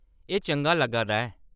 एह्‌‌ चंगा लग्गा दा ऐ ।